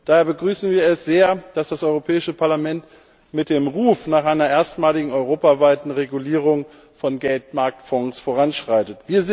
Daher begrüßen wir es sehr, dass das Europäische Parlament mit dem Ruf nach einer erstmaligen europaweiten Regulierung von Geldmarktfonds voranschreitet.